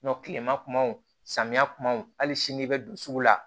kilema kumaw samiya kumaw hali sini i be don sugu la